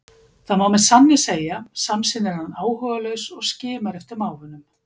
Það má með sanni segja, samsinnir hann áhugalaus og skimar eftir mávunum.